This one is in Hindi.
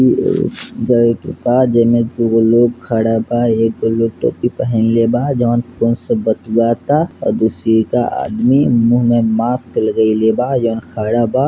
एने दूगो लोग खड़ा बा एकगो टोपी पहिनले बा | जोन फ़ोन से बतियाता आ दूसरी का आदमी मुँह में मास्क लगैले बा जहाँ खड़ा बा |